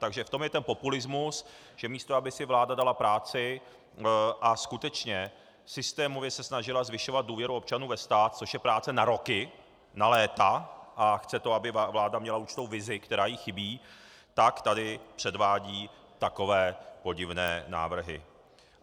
Takže v tom je ten populismus, že místo aby si vláda dala práci a skutečně systémově se snažila zvyšovat důvěru občanů ve stát, což je práce na roky, na léta, a chce to, aby vláda měla určitou vizi, která jí chybí, tak tady předvádí takové podivné návrhy.